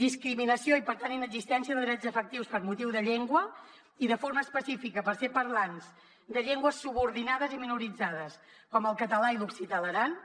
discriminació i per tant inexistència de drets efectius per motiu de llengua i de forma específica pel fet de ser parlants de llengües subordinades i minoritzades com el català i l’occità a l’aran